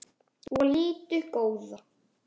og litu góða.